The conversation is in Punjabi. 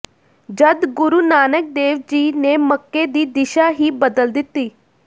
ਜੱਦ ਗੁਰੂ ਨਾਨਕ ਦੇਵ ਜੀ ਨੇ ਮੱਕੇ ਦੀ ਦਿਸ਼ਾ ਹੀ ਬਦਲ ਦਿੱਤੀ